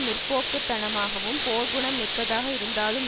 முற்போக்குத்தனமாகவும் போர்க்குணம் மிக்கதாக இருந்தாலும்